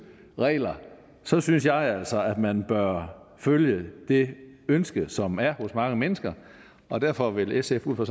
regler så synes jeg altså at man bør følge det ønske som der er hos mange mennesker og derfor vil sf ud fra